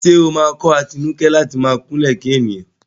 Ṣé ó máa kọ́ Atinúkẹ́ láti máa kúnlẹ̀ kí ènìyàn?